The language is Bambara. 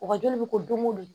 Wagajoli bɛ ko don ko don